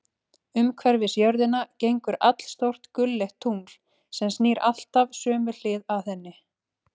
Umhverfis jörðina gengur allstórt gulleitt tungl, sem snýr alltaf sömu hlið að henni.